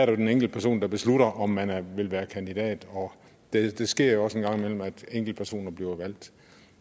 jo den enkelte person der beslutter om man vil være kandidat og det sker jo også en gang imellem at enkeltpersoner bliver valgt